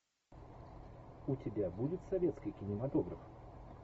у тебя будет советский кинематограф